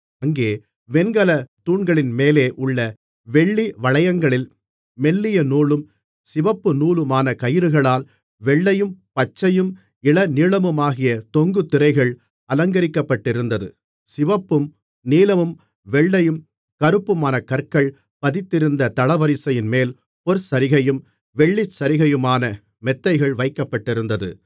அங்கே வெண்கலத் தூண்களின்மேலே உள்ள வெள்ளி வளையங்களில் மெல்லிய நூலும் சிவப்பு நூலுமான கயிறுகளால் வெள்ளையும் பச்சையும் இளநீலமுமாகிய தொங்குதிரைகள் அலங்கரிக்கப்பட்டிருந்தது சிவப்பும் நீலமும் வெள்ளையும் கறுப்புமான கற்கள் பதித்திருந்த தளவரிசையின்மேல் பொற்சரிகையும் வெள்ளிச்சரிகையுமான மெத்தைகள் வைக்கப்பட்டிருந்தது